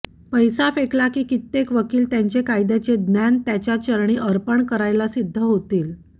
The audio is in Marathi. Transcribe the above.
पैसा फेकला की कित्येक वकील त्यांचे कायद्याचे ज्ञान त्याच्या चरणी अर्पण करायला सिद्ध होतील